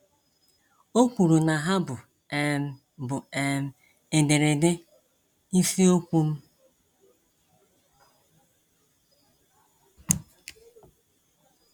O kwuru na ha bụ um bụ um ederede isiokwu m.